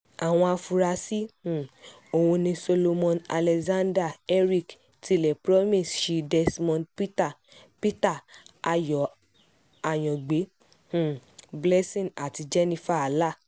àwọn afurasí um òhún ni solomon alexander eric tilẹ̀ promise shea desmond peter peter ayọ̀ àyangbẹ um blessing àti jennifer allah